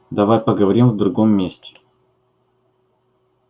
давай поговорим в другом месте